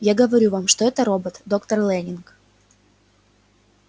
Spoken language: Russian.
я говорю вам что это робот доктор лэннинг